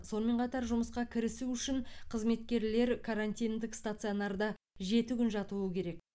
сонымен қатар жұмысқа кірісу үшін қызметкерлер карантиндік стационарда жеті күн жатуы керек